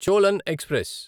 Cholan express